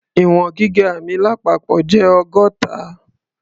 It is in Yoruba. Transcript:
Ì̀wọ̀n gíga mi lápapọ̀ jẹ́ ọgọ́ta.